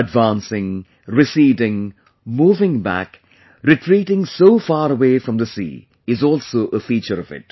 Advancing, receding, moving back, retreating so far away of the sea is also a feature of it